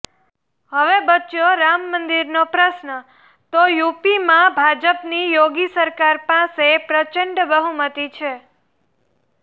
હવે બચ્યો રામ મંદિરનો પ્રશ્ન તો યુપીમાં ભાજપની યોગી સરકાર પાસે પ્રચંડ બહુમતી છે